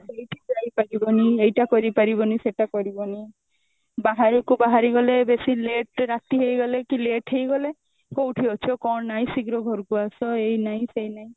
ସେଇଠି ଯାଇପାରିବନି ଏଇଟା କରିପାରିବନି ସେଇଟା କରିବନି ବାହାରକୁ ବାହାରିଗଲେ ବେଶି late ରେ ରାତି ହେଇଗଲେ କି late ହେଇଗଲେ କଉଠି ଅଛ କଣ ନାଇଁ ଶୀଘ୍ର ଘରକୁ ଆସ ଏଇ ନାଇଁ ସେଇ ନାଇଁ